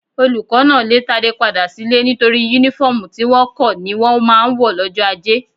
Olùkọ́ náà lè Tádé padà sílé nítorí Únífọ́ọ̀mù tí wọ̀ kọ́ ni wọ́n máa ń wọ̀ lọ́jọ́ ajé